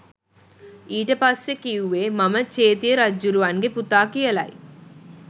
ඊට පස්සෙ කිව්වේ මම චේතිය රජ්ජුරුවන්ගෙ පුතා කියලයි